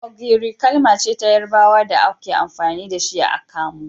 Ogiri kalmace ta yarabawa da amfani da shi a kamu.